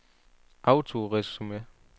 autoresume